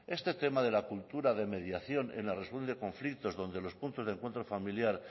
este tema de la cultura de mediación en la resolución de conflictos donde los puntos de encuentro familiar